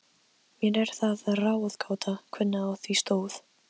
Mér er það ráðgáta, hvernig á því stóð.